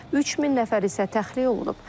3000 nəfər isə təxliyə olunub.